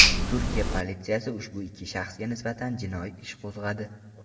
Turkiya politsiyasi ushbu ikki shaxsga nisbatan jinoiy ish qo‘zg‘adi.